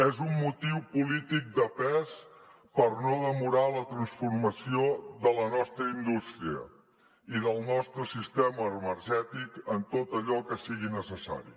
és un motiu polític de pes per no demorar la transformació de la nostra indústria i del nostre sistema energètic en tot allò que sigui necessari